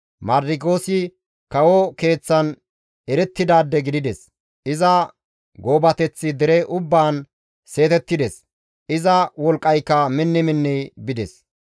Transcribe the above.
Mardikiyoosi kawo keeththan erettidaade gidides; iza goobateththi dere ubbaan seetettides; iza wolqqayka minni minni bides.